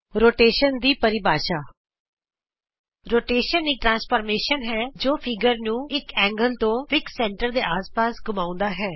ਪਰਿਕਰਮਣ ਦੀ ਪਰਿਭਾਸ਼ਾ ਪਰਿਕਰਮਣ ਇਕ ਰੂਪਾਂਤਰ ਹੈ ਜੋ ਚਿੱਤਰ ਨੂੰ ਇਕ ਕੋਣ ਤੋਂ ਨਿਸ਼ਚਿਤ ਕੇਂਦਰ ਦੇ ਆਸ ਪਾਸ ਘੁੰਮਾਉਂਦਾ ਹੈ